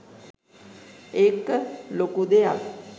ඒක ලොකු දෙයක්.